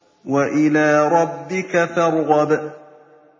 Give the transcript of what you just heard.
وَإِلَىٰ رَبِّكَ فَارْغَب